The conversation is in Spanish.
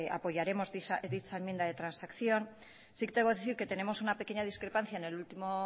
apoyaremos dicha enmienda de transacción sí tengo que decir que tenemos una pequeña discrepancia en el último